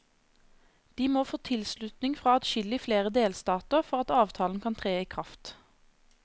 De må få tilslutning fra adskillig flere delstater for at avtalen kan tre i kraft.